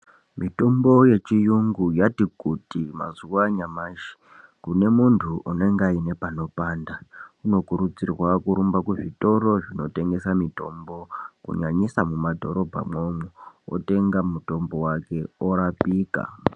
Mitombo ye chiyungu yati kuti mazuva anyamashi kune muntu unenge aiine pano panda uno kurudzirwa kurumba kuzvitoro zvino tengesa mitombo kunyanyisa mu madhorobha mwo umu otenga mutombo wake orapika.